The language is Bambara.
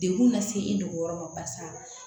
Degun lase i nugu yɔrɔ ma barisa